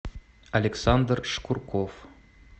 александр шкурков